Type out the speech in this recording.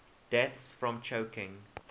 deaths from choking